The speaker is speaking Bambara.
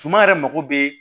Suma yɛrɛ mako bɛ